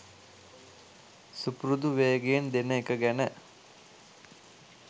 සුපුරුදු වේගයෙන් දෙන එක ගැන.